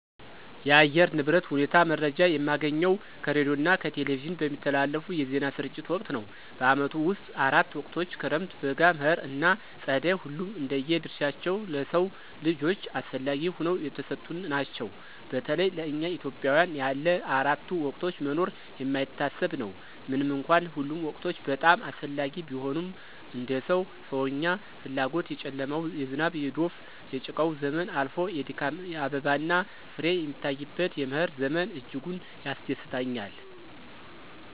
የአየር ንብረት ሁኔታ መረጃ የማገኘው ከሬዲዮና ከቴሌቪዥን በሚተላለፉ የዜና ስርጭት ወቅት ነው። በዓመቱ ውስጥ አራት ወቅቶች ክረምት፣ በጋ፣ መኸር ና ፀደይ ሁሉም እንደየ ድርሻቸው ለሰው ልጆች አስፈለጊ ሁነው የተሰጡን ናቸው። በተለይ ለእኛ ኢትዮጵያውያን ያለ አራቱ ወቅቶች መኖር የማይታሰብ ነው። ምንም እንኳን ሁሉም ወቅቶች በጣም አስፈላጊ ቢሆኑም እንደ ሰው ሰዎኛ ፍላጎት የጨለማው፣ የዝናብ፣ የዶፍ፣ የጭቃው ዘመን አልፎ የድካም አበባና ፍሬ የሚታይበት የመኸር ዘመን እጅጉን ያስደስተኛል።